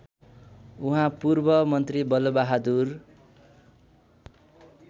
उहाँ पूर्वमन्त्री बलबहादुर